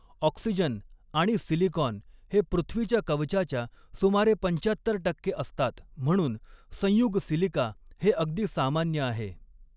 Oxygen आणि silicon हे पृथ्वीच्या कवचाच्या सुमारे पंचाहत्तर टक्के असतात म्हणून संयुग सिलिका हे अगदी सामान्य आहे.